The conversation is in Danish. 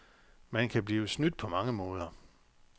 Man kan blive snydt på mange måder.